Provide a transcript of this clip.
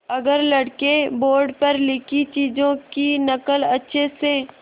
अगर लड़के बोर्ड पर लिखी चीज़ों की नकल अच्छे से